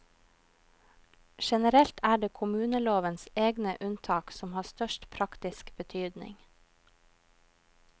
Generelt er det kommunelovens egne unntak som har størst praktisk betydning.